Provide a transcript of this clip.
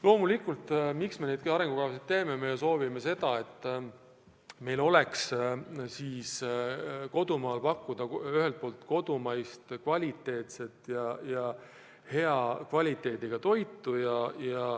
Loomulikult, miks me neid arengukavasid teeme: me soovime, et meil oleks Eestis pakkuda kodumaist hea kvaliteediga toitu.